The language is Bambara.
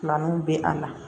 Filananw bɛ a la